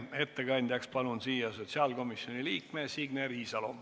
Ettekandjaks palun siia sotsiaalkomisjoni liikme Signe Riisalo.